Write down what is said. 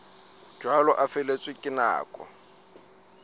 jwalo a feletswe ke nako